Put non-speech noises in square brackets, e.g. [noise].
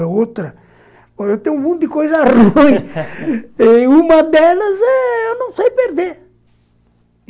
É outra... Eu tenho um mundo de coisa ruim, [laughs] e em uma delas eu não sei perder.